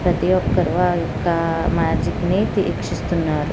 ప్రతి ఒక్కరూ మ్యాజిక్ ని వీక్షిస్తున్నారు.